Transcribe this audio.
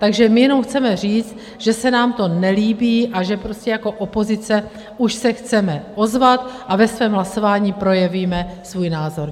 Takže my jenom chceme říct, že se nám to nelíbí, a že prostě jako opozice už se chceme ozvat a ve svém hlasování projevíme svůj názor.